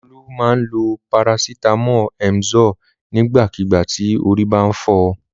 Olú máa ń lo parasítámọ̀ Emzor nígbàkigbà tí orí bá ń fọ.